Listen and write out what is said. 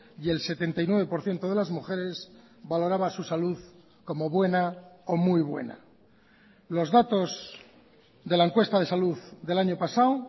y el setenta y nueve por ciento de las mujeres valoraba su salud como buena o muy buena los datos de la encuesta de salud del año pasado